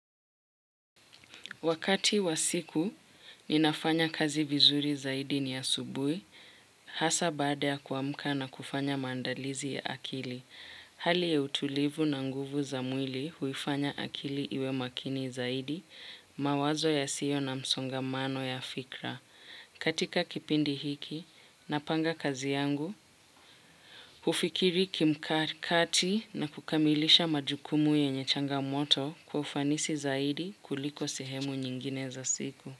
Wakati wa siku, ninafanya kazi vizuri zaidi ni asubuhi, hasa baada ya kuamka na kufanya maandalizi ya akili. Hali ya utulivu na nguvu za mwili huifanya akili iwe makini zaidi, mawazo ya sio na msongamano ya fikra. Katika kipindi hiki napanga kazi yangu, hufikiri kimkati na kukamilisha majukumu yenye changamoto kwa ufanisi zaidi kuliko sehemu nyingine za siku.